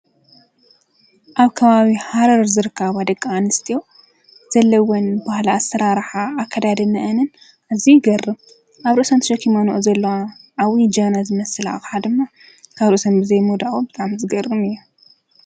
ኣብ ካባዊ ሓረር ዝርካባ ኣደቃኣንስዮ ዘለወን ብሃላ ኣሠራርሓ ኣከዳደ መእንን እዙይ ይገር ኣብ ርሰንት ሸኪመኖኦ ዘበና ጃበና ዝመስላሓደማ ካርሰም ብዘይሞዳኦ ብጣም ዝገርም እየ።